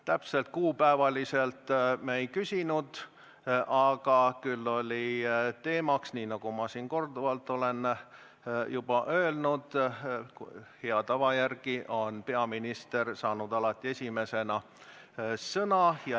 Täpselt kuupäevaliselt me ei küsinud, aga oli teemaks, nii nagu ma olen siin juba korduvalt öelnud, et hea tava järgi on peaminister saanud alati esimesena sõna.